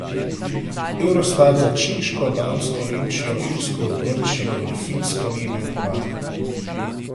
Eurostat za Češko, Dansko, Nemčijo, Irsko, Grčijo in Finsko ni imel podatka.